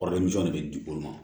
Kɔrɔlen jɔ de bɛ di olu ma